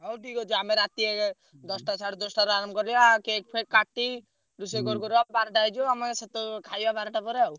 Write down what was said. ହଉ ଠିକ ଅଛି। ଆମେ ରାତି ଦଶଟା ସାଢେ ଦଶଟାରେ ଆରମ୍ଭ କରିବା cake ଫେକ କାଟି ରୋଷେଇ କରୁକରୁ ବାରେଟା ହେଇଯିବ ଆମେ ସେତ ଖାଇଆ ବାରେଟା ପରେ ଆଉ।